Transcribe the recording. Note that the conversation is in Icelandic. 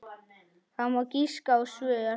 Það má giska á svör.